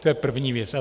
To je první věc.